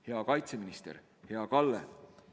Hea kaitseminister, hea Kalle!